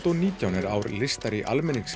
og nítján er ár listar í